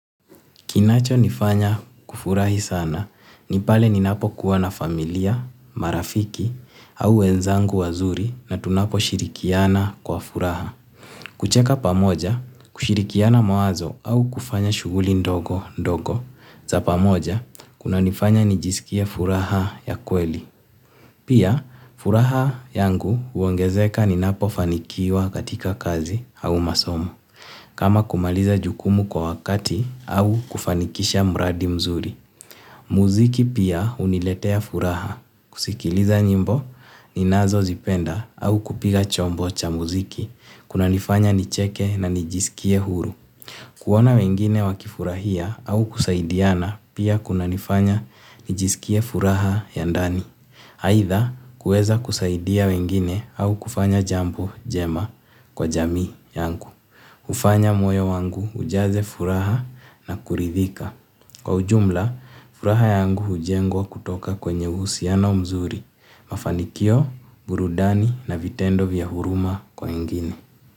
Kinachonifanya kufurahi sana ni pale ninapokuwa na familia, marafiki au wenzangu wazuri na tunaposhirikiana kwa furaha. Kucheka pamoja, kushirikiana mawazo au kufanya shughuli ndogo ndogo za pamoja kunanifanya nijisikie furaha ya kweli. Pia furaha yangu huongezeka ninapofanikiwa katika kazi au masomo. Kama kumaliza jukumu kwa wakati au kufanikisha mradi mzuri. Muziki pia huniletea furaha. Kusikiliza nyimbo, ninazozipenda au kupiga chombo cha muziki. Kunanifanya nicheke na nijisikie huru. Kuona wengine wakifurahia au kusaidiana pia kunanifanya nijisikie furaha ya ndani. Aidha kuweza kusaidia wengine au kufanya jambo jema kwa jamii yangu. Hufanya moyo wangu ujaze furaha na kuridhika. Kwa ujumla, furaha yangu hujengwa kutoka kwenye uhusiano mzuri. Mafanikio, burudani na vitendo vya huruma kwa wengine.